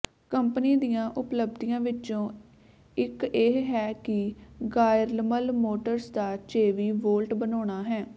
company ਦੀਆਂ ਉਪਲਬਧੀਆਂ ਵਿੱਚੋਂ ਇੱਕ ਇਹ ਹੈ ਕਿ ਗਾਇਰਮਲ ਮੋਟਰਜ਼ ਦਾ ਚੇਵੀ ਵੋਲਟ ਬਣਾਉਣਾ ਹੈ